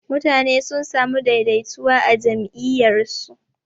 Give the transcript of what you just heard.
mutane sun samu daidaituwa a jam'iyyar su.